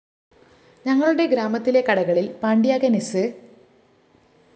ഞങ്ങളുടെ ഗ്രാമത്തിലെ കടകളില്‍ പാണ്ട്യാങ്കന്‍ സ്‌